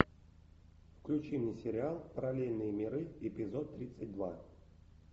включи мне сериал параллельные миры эпизод тридцать два